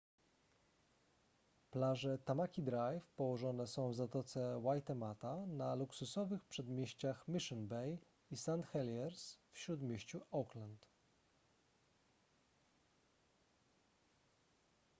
plaże tamaki drive położone są w zatoce waitemata na luksusowych przedmieściach mission bay i st heliers w śródmieściu auckland